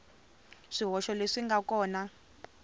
swihoxo leswi swi nga kona